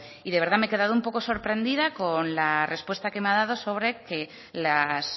de verdad me he quedado un poco sorprendida con la respuesta que me ha dado sobre que las